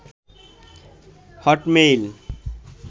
Hotmail